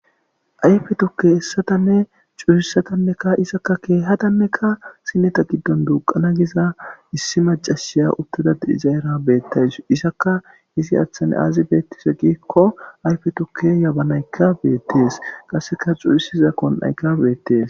Ayfe tukke hessatanne cuurissatannekka isakka keehadanneka sineta giddon duuqana giza issi macashiya uttada iza era beettays isaka izi aathane aazi beettise giikko ayfe tukke yabanaykka beettees qasseka xurisiza kon'ayka beettees.